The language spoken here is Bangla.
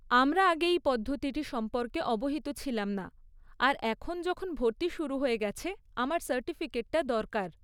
আমরা আগে এই পদ্ধতিটি সম্পর্কে অবহিত ছিলাম না আর এখন যখন ভর্তি শুরু হয়ে গেছে, আমার সার্টিফিকেটটা দরকার।